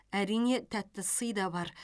әрине тәтті сый да бар